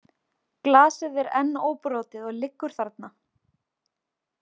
Glasið er enn óbrotið og liggur þarna.